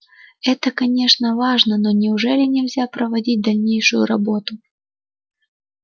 это конечно важно но неужели нельзя проводить дальнейшую работу